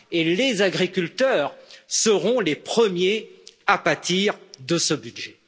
Et les agriculteurs seront les premiers à pâtir de ce budget.